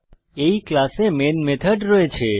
এই ক্লাসে main method রয়েছে